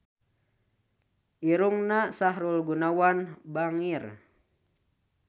Irungna Sahrul Gunawan bangir